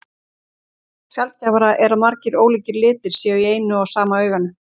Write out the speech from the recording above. Sjaldgæfara er að margir ólíkir litir séu í eina og sama auganu.